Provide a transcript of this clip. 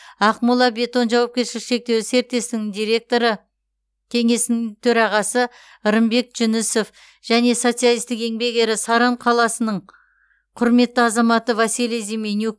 ақмола бетон жауапкершілігі шектеулі серіктестігінің директоры кеңесінің төрағасы рымбек жүнісов және социалистік еңбек ері саран қаласының құрметті азаматы василий зименюк